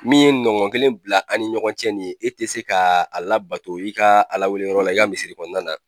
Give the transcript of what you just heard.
Min ye nɔgɔn kelen bila a' ni ɲɔgɔn cɛ nin ye e tɛ se ka a labato i ka Ala wele yɔrɔ la i ka misiri kɔnɔna na.